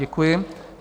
Děkuji.